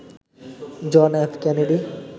John F Kennedy